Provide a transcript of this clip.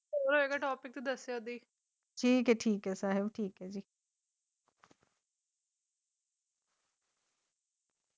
ਅਗਲਾ ਟੋਪਿਕ ਸ੍ਰੀ ਗੁਰੂ ਗ੍ਰੰਥ ਸਾਹਿਬ ਜੀ ਦੇ